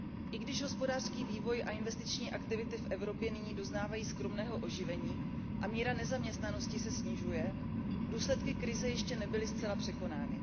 I když hospodářský vývoj a investiční aktivity v Evropě nyní doznávají skromného oživení a míra nezaměstnanosti se snižuje, důsledky krize ještě nebyly zcela překonány.